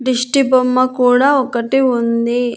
దిష్టిబొమ్మ కూడా ఒకటి ఉంది.